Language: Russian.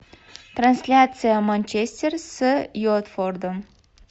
трансляция манчестер с уотфордом